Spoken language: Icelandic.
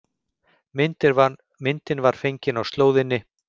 Myndin var fengin á slóðinni